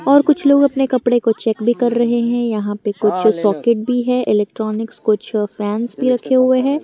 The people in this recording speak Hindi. और कुछ लोग अपने कपड़े को चेक भी कर रहे हैं यहां पे कुछ सॉकेट भी है इलेक्ट्रॉनिक्स कुछ फैन भी रखे हुए हैं।